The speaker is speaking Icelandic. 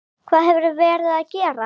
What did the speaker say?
Hvað hefurðu verið að gera?